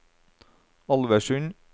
Alversund